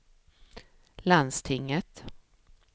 landstinget